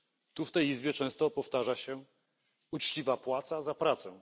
Tu w tej Izbie często powtarza się uczciwa płaca za pracę.